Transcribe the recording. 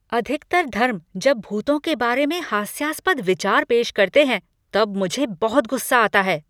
अधिकतर धर्म जब भूतों के बारे में हास्यास्पद विचार पेश करते हैं तब मुझे बहुत गुस्सा आता है।